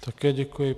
Také děkuji.